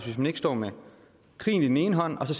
hvis vi står med krigen i den ene hånd og